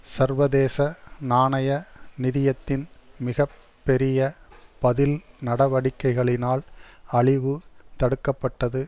சர்வதேச நாணய நிதியத்தின் மிக பெரிய பதில் நடவடிக்கைகளினால் அழிவு தடுக்க பட்டது